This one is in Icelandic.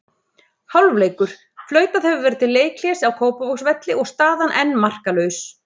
Hálfleikur: Flautað hefur verið til leikhlés á Kópavogsvelli og staðan enn markalaus.